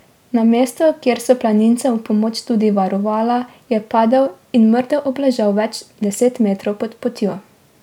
Na mestu, kjer so planincem v pomoč tudi varovala, je padel in mrtev obležal več deset metrov pod potjo.